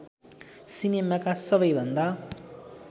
सिनेमाका सबै भन्दा